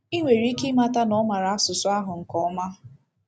I nwere ike ịmata na ọ maara asụsụ ahụ nke ọma..